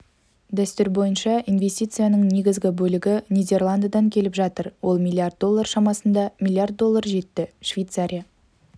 дәстүр бойынша инвестицияның негізгі бөлігі нидерландыдан келіп жатыр ол млрд доллар шамасында млрд доллар жетті швейцария